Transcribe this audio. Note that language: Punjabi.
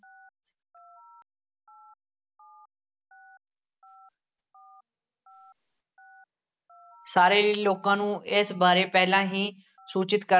ਸਾਰੇ ਈ ਲੋਕਾਂ ਨੂੰ ਇਸ ਬਾਰੇ ਪਹਿਲਾਂ ਹੀ ਸੂਚਿਤ ਕ~